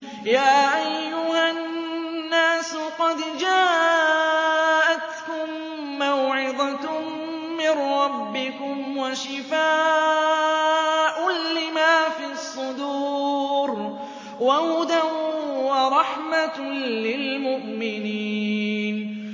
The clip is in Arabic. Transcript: يَا أَيُّهَا النَّاسُ قَدْ جَاءَتْكُم مَّوْعِظَةٌ مِّن رَّبِّكُمْ وَشِفَاءٌ لِّمَا فِي الصُّدُورِ وَهُدًى وَرَحْمَةٌ لِّلْمُؤْمِنِينَ